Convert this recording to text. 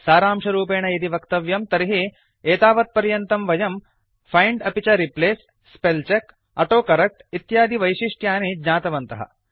सारांशरूपेण यदि वक्तव्यं तर्हि एतावत्पर्यन्तं वयं फैंड् अपि च replace spell check autocorrect इत्यादिवैशिष्ट्यानि ज्ञातवन्तः